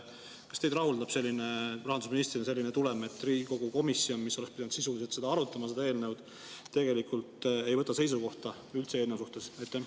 Kas teid rahuldab rahandusministrina selline tulem, et Riigikogu komisjon, mis oleks pidanud sisuliselt arutama seda eelnõu, tegelikult ei võta üldse seisukohta eelnõu suhtes?